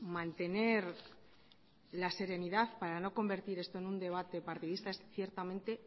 mantener la serenidad para no convertir esto en un debate partidista es ciertamente